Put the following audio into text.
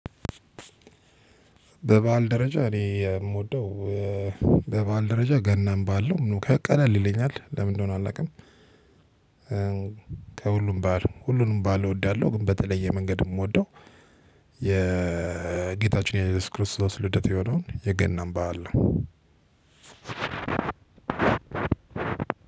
ባበአል ደረጃ እኔ እምወደው በባአል ደረጃ ገናን ባዓል ነው ቀለል ይለኛል ለምን እንደሆነ አላውቅም። ከሁሉም ባዓል ሁሉንም ባዓል እወዳለሁ ግን በተለየ መንገድ እምወደው የጌታችን የኢየሱስ ክርስቶስ ልደት የሆነውን የገናን በዓል ነው።